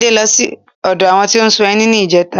Adé ló sí odo àwọn tó n ṣún ẹni ní ìjẹta